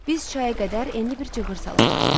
Biz çaya qədər enli bir cığır salarıq.